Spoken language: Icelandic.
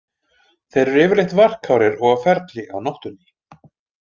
Þeir eru yfirleitt varkárir og á ferli á nóttunni.